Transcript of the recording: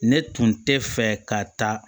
Ne tun tɛ fɛ ka taa